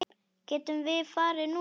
Getum við farið núna?